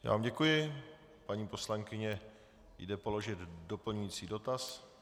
Já vám děkuji, paní poslankyně jde položit doplňující dotaz.